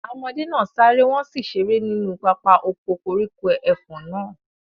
Àwọn ọmọdé náà sáré, wọn sì ṣeré nínú pápá oko koríko ẹfọ̀n náà.